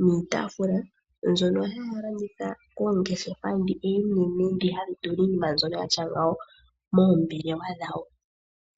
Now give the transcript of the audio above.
niitafula, mbyono haya landitha koongeshefa dhi oonene, dhi hadhi tula iinima mbyoka yatya ngawo moombelewa dhawo.